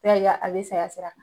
N'i y'a ye a bɛ say sira kan.